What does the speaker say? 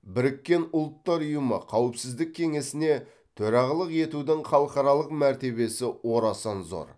біріккен ұлттар ұйымы қауіпсіздік кеңесіне төрағалық етудің халықаралық мәртебесі орасан зор